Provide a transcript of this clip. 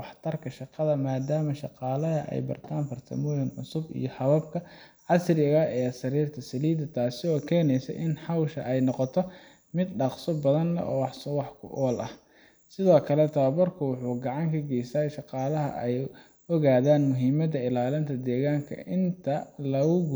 waxay si toos ah u saameyn kartaa nolosha qoyska dhaqashada xoolaha, maadaama wax-soo-saarka caanaha uu yahay ilo dhaqaale maalinle ah. Marka saddexaad, in la quudiyo